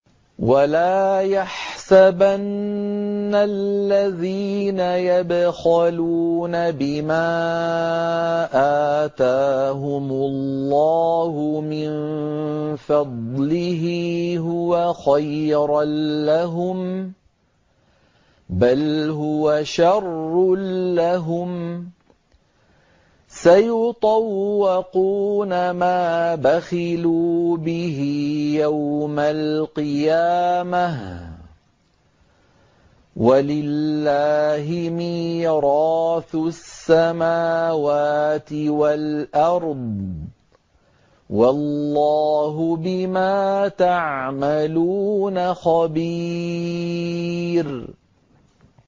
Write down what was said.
وَلَا يَحْسَبَنَّ الَّذِينَ يَبْخَلُونَ بِمَا آتَاهُمُ اللَّهُ مِن فَضْلِهِ هُوَ خَيْرًا لَّهُم ۖ بَلْ هُوَ شَرٌّ لَّهُمْ ۖ سَيُطَوَّقُونَ مَا بَخِلُوا بِهِ يَوْمَ الْقِيَامَةِ ۗ وَلِلَّهِ مِيرَاثُ السَّمَاوَاتِ وَالْأَرْضِ ۗ وَاللَّهُ بِمَا تَعْمَلُونَ خَبِيرٌ